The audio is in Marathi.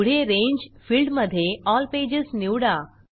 पुढे रांगे फिल्डमधे एल पेजेस निवडा